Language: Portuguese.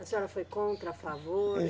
A senhora foi contra, a favor?